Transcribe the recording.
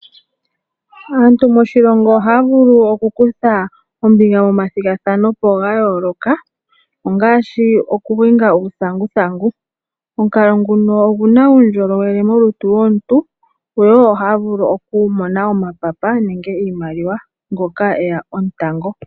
Aantu moshilongo ohaya vulu okukutha ombinga momathigathano ga yooloka ongaashi okuhinga uuthanguthangu. Omukalo nguno oguna uundjolowele molutu lwomuntu wo. Ohaya vulu okumona omapapa nenge iimaliwa ngoka eya omutango.